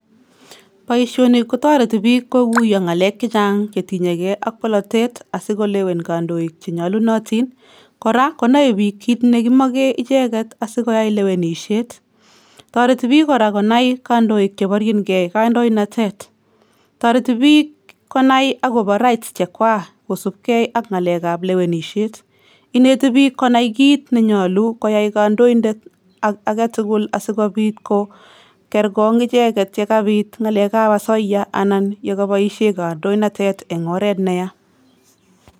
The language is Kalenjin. Boisioni kotoreti biik kokuiyo ngaleek chechang chetinyekei ak bolotet asi kolewen kandoik che nyalunotin, kora konoe biik kiit ne kimoke icheket asikoyai lewenisiet, toreti biik kora konai kandoik cheborjinkei kandoinatet, toreti biik konai akobo rights chekwaa kosupke ak ngalekab lewenisiet, ineti biik konai kiit ne nyolu koyai kandoindet age tugul asikobiit ko kerkong icheket ye kabit ngalekab asoya ana ye kaboisie kandoinatet eng oret ne ya.